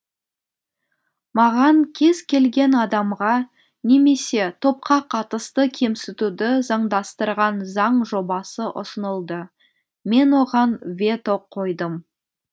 маған кез келген адамға немесе топқа қатысты кемсітуді заңдастырған заң жобасы ұсынылды мен оған вето қойдым